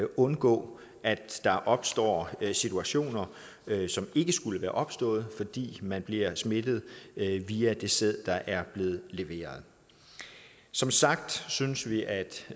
undgå at der opstår situationer som ikke skulle være opstået fordi man bliver smittet via den sæd der er blevet leveret som sagt synes vi at